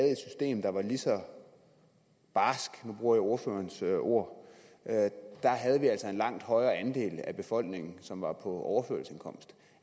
en der var lige så barskt nu bruger jeg ordførerens ord havde vi altså en langt højere andel af befolkningen som var på overførselsindkomst